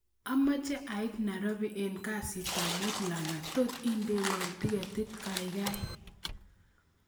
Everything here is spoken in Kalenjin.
Amoche ait nairobi en kasitab muut langat tot indewon tiketit kaikai